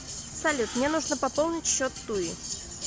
салют мне нужно пополнить счет туи